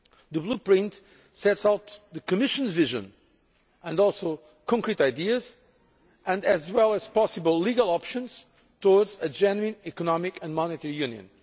The Blueprint sets out the Commission's vision and concrete ideas as well as possible legal options towards a genuine Economic and Monetary Union.